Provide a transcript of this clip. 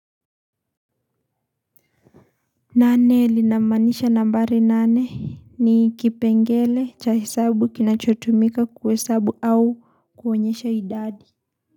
Nane linamaanisha nambari nane ni kipengele cha hesabu kinachotumika kuhesabu au kuonyesha idadi.